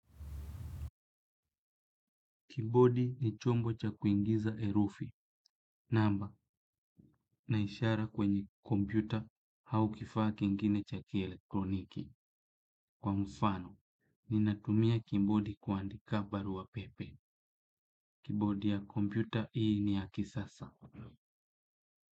Kibodi ni chombo cha kuingiza herufi, namba, naishara kwenye kompyuta au kifaa kingine cha kieletroniki. Kwa mfano, ninatumia kibodi kuandika barua pepe. Kibodi ya kompyuta hii ni ya kisasa.